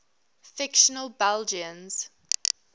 fictional belgians